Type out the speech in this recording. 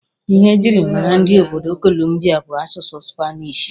Ihe e jiri mara ndị obodo kolumbia bụ asụsụ supanishi.